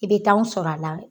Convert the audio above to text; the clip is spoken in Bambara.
I bɛ taa anw sɔrɔ a la